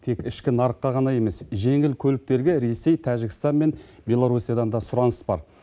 тек ішкі нарыққа ғана емес жеңіл көліктерге ресей тәжікстан мен белорусиядан да сұраныс бар